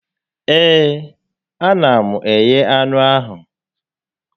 Ee, a na m eghe anụ ahụ